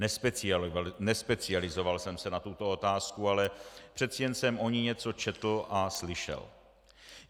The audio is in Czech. Nespecializoval jsem se na tuto otázku, ale přece jen jsem o ní něco četl a slyšel.